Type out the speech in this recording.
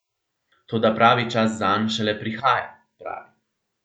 Toda pravi čas zanj šele prihaja, pravi.